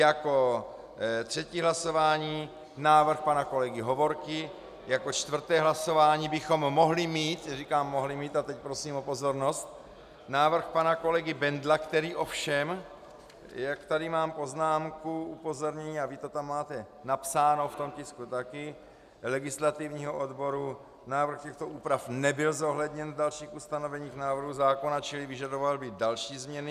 Jako třetí hlasování návrh pana kolegy Hovorky, jako čtvrté hlasování bychom mohli mít - říkám mohli mít a teď prosím o pozornost - návrh pana kolegy Bendla, který ovšem, jak tady mám poznámku, upozornění, a vy to tam máte napsáno v tom tisku také, legislativního odboru: návrh těchto úprav nebyl zohledněn v dalších ustanoveních návrhu zákona, čili vyžadoval by další změny.